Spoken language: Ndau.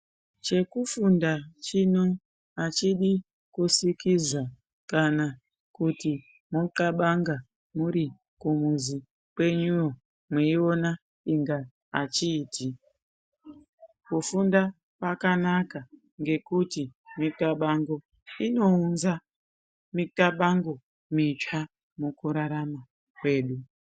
Chekufunda chino hachidi kusikiza kana kuti moxabanga muri kumuzi kwenyuyo mweiona inga hachiiti. Kufunda kwakanaka ngekuti mixabango inounza mixabango mitsva mukurarama kwedu.